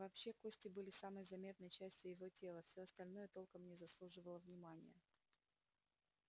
вообще кости были самой заметной частью его тела всё остальное толком не заслуживало внимания